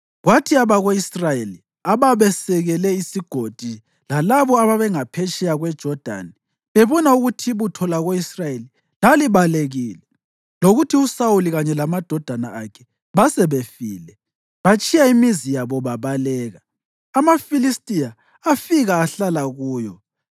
Kwathi abako-Israyeli ababesekele isigodi lalabo ababengaphetsheya kweJodani bebona ukuthi ibutho lako-Israyeli lalibalekile lokuthi uSawuli kanye lamadodana akhe basebefile, batshiya imizi yabo babaleka. AmaFilistiya afika ahlala kuyo.